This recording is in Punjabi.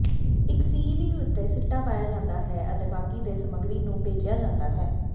ਇੱਕ ਸਿਈਵੀ ਉੱਤੇ ਸਿੱਟਾ ਪਾਇਆ ਜਾਂਦਾ ਹੈ ਅਤੇ ਬਾਕੀ ਦੇ ਸਮੱਗਰੀ ਨੂੰ ਭੇਜਿਆ ਜਾਂਦਾ ਹੈ